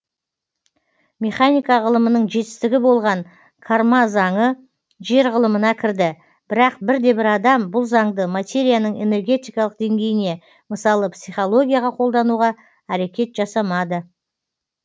механика ғылымының жетістігі болған карма заңы жер ғылымына кірді бірақ бірде бір адам бұл заңды материяның энергетикалық деңгейіне мысалы психологияға қолдануға әрекет жасамады